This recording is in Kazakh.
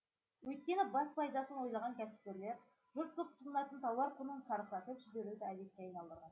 өйткені бас пайдасын ойлаған кәсіпкерлер жұрт көп тұтынатын тауар құнын шарықтатып жіберуді әдетке айналдырған